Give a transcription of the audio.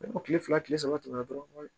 Ni o kile fila kile saba tɛmɛna dɔrɔn